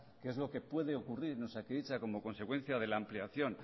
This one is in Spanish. que es lo que puede ocurrir en osakidetza como consecuencia de la ampliación